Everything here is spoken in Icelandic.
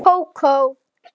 Kókó?